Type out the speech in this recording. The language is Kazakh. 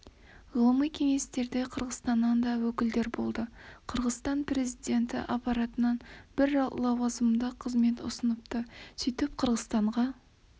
ғылыми кеңесте қырғызстаннан да өкілдер болды қырғызстан президенті аппаратынан бір лауазымды қызмет ұсыныпты сөйтіп біз қырғызстанға